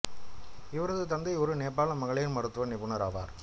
இவரது தந்தை ஒரு நேபாள மகளிர் மருத்துவ நிபுணர் ஆவார்